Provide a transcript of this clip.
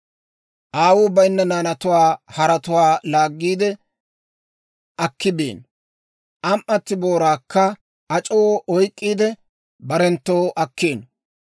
Aawuu bayinna naanatuwaa haretuwaa laaggiide, akki biino; am"atii booraakka ac'oo oyk'k'iide, barenttoo akkiino.